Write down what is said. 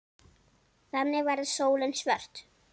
Þannig verður sólin svört.